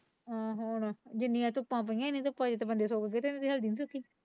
ਹਾਂ ਹੁਣ ਜਿੰਨੀਆਂ ਧੁੱਪਾਂ ਪਇਆ ਇਨ੍ਹਾਂ ਨੂੰ ਤਾ ਬੰਦੇ ਸੁੱਕ ਜਾਂਦੇ ਹੈ ਤੁਹਾਡੀ ਹਲਦੀ ਨਹੀਂ ਸੁੱਕੀ।